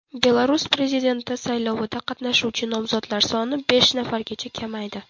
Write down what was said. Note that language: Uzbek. Belarus prezidenti saylovida qatnashuvchi nomzodlar soni besh nafargacha kamaydi.